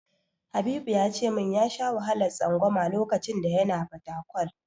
Habibu ya ce min ya sha wahalar tsangwama lokacin da yana Fatakwal.